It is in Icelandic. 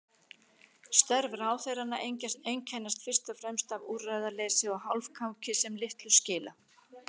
Störf ráðherranna einkennast fyrst og fremst af úrræðaleysi og hálfkáki sem litlu skila.